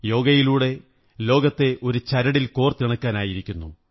യോഗയിലൂടെ ലോകത്തെ ഒരു ചരടിൽ കോര്ത്തി ണക്കാനായിരിക്കുന്നു